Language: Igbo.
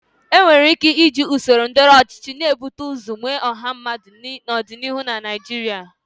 Enwere ike iji usoro ndọrọndọrọ ọchịchị na-ebute ụzọ nwe ọha mmadụ n'ọdịnihu na Naijiria.